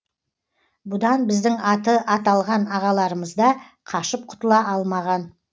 бұдан біздің аты аталған ағаларымызда қашып құтыла алмаған